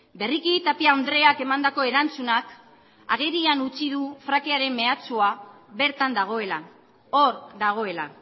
berriki tapia andreak emandako erantzunak agerian utzi du frackingaren mehatxua bertan dagoela hor dagoela